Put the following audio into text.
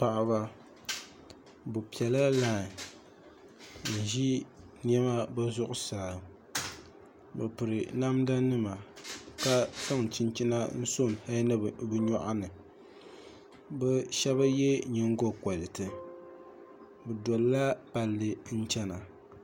Paɣaba bi piɛla lai n ʒi niɛma bi zuɣusaa bi piri namda nima ka zaŋ chinchina n so hali ni bi nyoɣani bi shab yɛ nyingokoriti bi dolila palli n chɛna